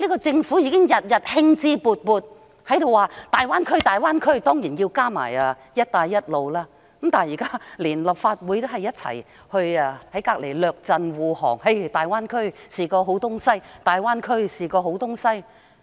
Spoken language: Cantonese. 政府每天興致勃勃地談論大灣區，還有"一帶一路"，連立法會現時也在旁列陣護航，日以繼夜地指大灣區是好東西。